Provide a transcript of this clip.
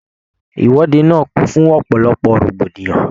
Ìwọde náà kún fún ọ̀pọ̀lọpọ̀ rògbòdìyàn.